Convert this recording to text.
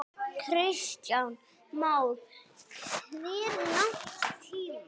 Kristján Már: Hve langan tíma?